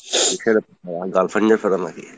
কিসের এতো প্যারা? girlfriend নিয়ে প্যারা নাকি?